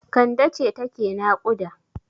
Kande ce take naƙuda.